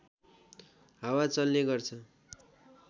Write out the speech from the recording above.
हावा चल्ने गर्छ